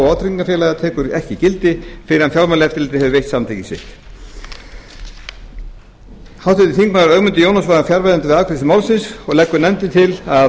vátryggingafélaga tekur ekki gildi fyrr en fjármálaeftirlitið hefur veitt samþykki sitt háttvirtur þingmaður ögmundur jónasson var fjarverandi við afgreiðslu málsins og nefndin til að